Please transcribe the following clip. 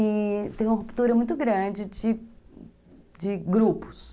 E teve uma ruptura muito grande de de grupos.